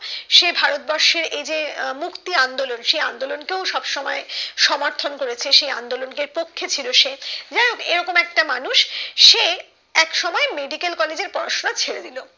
সে ভারতবর্ষের এই যে মুক্তি আন্দোলন সেই আন্দোলন কে ও সব সময় সমর্থন করেছে সেই আন্দোলন কে পক্ষে ছিল সে যাইহোক এরকম একটা মানুষ এক সময় medical কলেজের পড়াশোনা ছেড়েদিলো